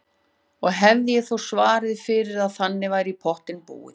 Og hefði ég þó svarið fyrir að þannig væri í pottinn búið.